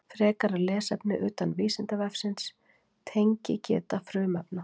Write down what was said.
Frekara lesefni utan Vísindavefsins: Tengigeta frumefna.